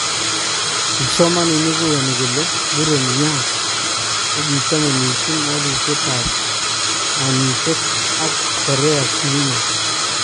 Kipsomanik koyani kole muren Yun kokichame missing walutyetab kaanyiitet ak Korea siino